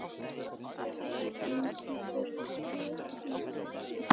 Engilbjört, hvernig er veðrið í dag?